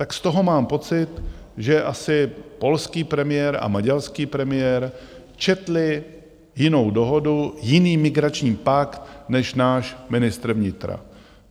Tak z toho mám pocit, že asi polský premiér a maďarský premiér četli jinou dohodu, jiný migrační pakt než náš ministr vnitra.